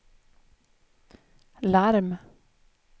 larm